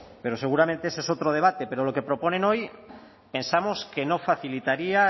pero seguramente ese es otro debate pero lo que proponen hoy pensamos que no facilitaría